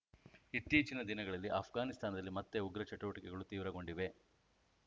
ಇತ್ತೀಚಿನ ದಿನಗಳಲ್ಲಿ ಆಫ್ಘಾನಿಸ್ತಾನದಲ್ಲಿ ಮತ್ತೆ ಉಗ್ರ ಚಟುವಟಿಕೆಗಳು ತೀವ್ರಗೊಂಡಿವೆ